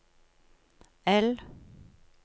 L